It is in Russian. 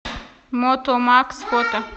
мотомакс фото